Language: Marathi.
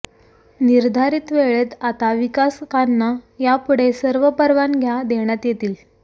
निर्धारित वेळेत आता विकासकांना यापुढे सर्व परवानग्या देण्यात येतील